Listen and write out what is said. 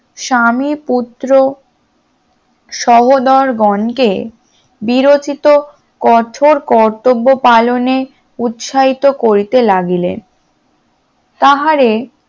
স্বামী পুত্র সহোদরগণকে বিরোচিত কঠোর কর্তব্য পালনে উৎসাহিত করিতে লাগিলেন তাহারে